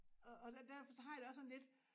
Og og derfor så har jeg det også sådan lidt